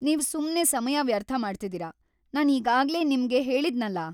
ನೀವ್ ಸುಮ್ನೇ ಸಮಯ ವ್ಯರ್ಥ ಮಾಡ್ತಿದೀರ, ನಾನ್‌ ಈಗಾಗ್ಲೇ ನಿಮ್ಗ್‌ ಹೇಳಿದ್ನಲ.